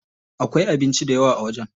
Akwai abinci dayawa a wajen.